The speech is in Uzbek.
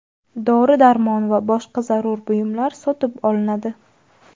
dori-darmon va boshqa zarur buyumlar sotib olinadi.